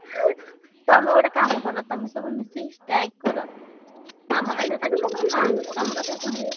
ତମେ ଗୋଟେ କାମ କର ତମେ ସବୁ ମିଶିକି strike କର। ଆମ କଥା ତମ କଥା ଶୁଣିବେ।